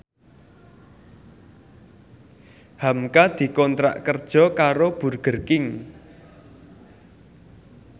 hamka dikontrak kerja karo Burger King